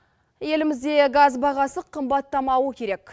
елімізде газ бағасы қымбаттамауы керек